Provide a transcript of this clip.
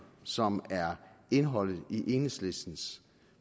som er indholdet i enhedslistens